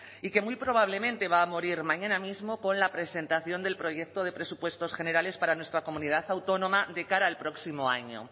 y que muy probablemente va a morir mañana mismo con la presentación del proyecto de presupuestos generales para nuestra comunidad autónoma de cara al próximo año